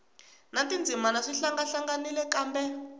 na tindzimana swi hlangahlanganile kambe